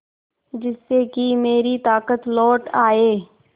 जिससे कि मेरी ताकत लौट आये